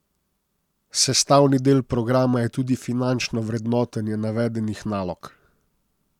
Sestavni del programa je tudi finančno vrednotenje navedenih nalog.